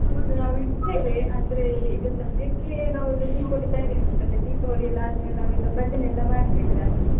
ಹೌದು ನಾವು ಇಡ್ತೇವೆ, ಆದ್ರೆ ಈಗ ಸದ್ಯಕ್ಕೆ ನಾವು ದೀಪಾವಳಿ ತಯಾರಿ ಆಗ್ತ ಉಂಟಲ್ಲ, ದೀಪಾವಳಿ ಎಲ್ಲ ಆದ್ಮೇಲೆ ನಾವೆಲ್ಲ ಭಜನೆ ಎಲ್ಲ ಮಾಡ್ತೇವೆ ರಾತ್ರಿ.